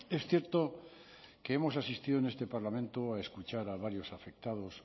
es cierto que hemos asistido en este parlamento a escuchar a varios afectados